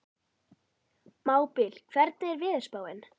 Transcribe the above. Mábil, hvernig er veðurspáin?